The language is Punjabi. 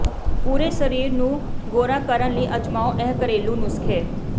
ਪੂਰੇ ਸਰੀਰ ਨੂੰ ਗੋਰਾ ਕਰਨ ਲਈ ਅਜਮਾਓ ਇਹ ਘਰੇਲੂ ਨੁਸਖੇ